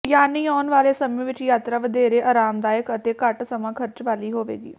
ਯਾਨੀ ਆਉਣ ਵਾਲੇ ਸਮੇਂ ਵਿਚ ਯਾਤਰਾ ਵਧੇਰੇ ਆਰਾਮਦਾਇਕ ਅਤੇ ਘੱਟ ਸਮਾਂ ਖ਼ਰਚ ਵਾਲੀ ਹੋਵੇਗੀ